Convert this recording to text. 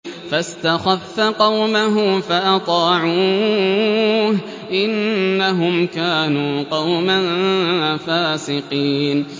فَاسْتَخَفَّ قَوْمَهُ فَأَطَاعُوهُ ۚ إِنَّهُمْ كَانُوا قَوْمًا فَاسِقِينَ